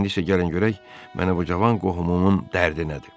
İndi isə gəlin görək mənə bu cavan qohumumun dərdi nədir?